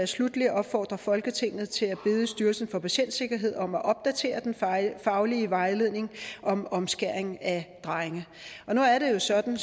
sluttelig opfordrer folketinget til at bede styrelsen for patientsikkerhed om at opdatere den faglige vejledning om omskæring af drenge nu er det jo sådan